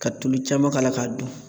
Ka tulu caman k'a la k'a dun